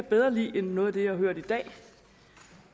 bedre lide end noget af det jeg har hørt i dag